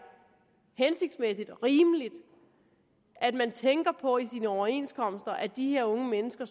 hensigtsmæssigt og rimeligt at man tænker på i sine overenskomster at de her unge mennesker